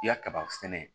I ya kaba sɛnɛ